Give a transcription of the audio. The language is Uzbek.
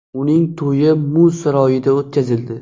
Uning to‘yi muz saroyida o‘tkazildi .